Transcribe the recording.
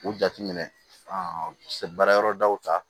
U jateminɛ se baara yɔrɔ daw ta